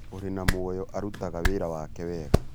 ũrĩ na mũoyo arutaga wĩra wake wega